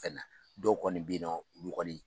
Ka na dɔw kɔni bɛ ye nɔ olu kɔni